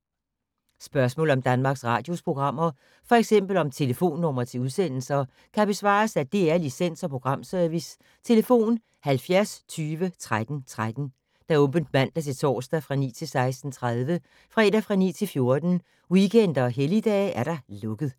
Spørgsmål om Danmarks Radios programmer, f.eks. om telefonnumre til udsendelser, kan besvares af DR Licens- og Programservice: tlf. 70 20 13 13, åbent mandag-torsdag 9.00-16.30, fredag 9.00-14.00, weekender og helligdage: lukket.